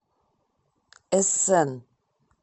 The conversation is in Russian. эссен